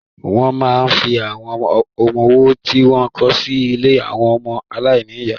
Wọ́n máa ń fi àwọn ọmọwọ́ tí wọ́n kọ̀ sí ilé àwọn ọmọ aláìní ìyá.